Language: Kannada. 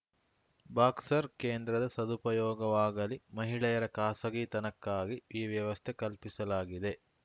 ಬಾಕ್ಸ್‌ರ್ ಕೇಂದ್ರದ ಸದುಪಯೋಗವಾಗಲಿ ಮಹಿಳೆಯರ ಖಾಸಗಿತನಕ್ಕಾಗಿ ಈ ವ್ಯವಸ್ಥೆ ಕಲ್ಪಿಸಲಾಗಿದೆ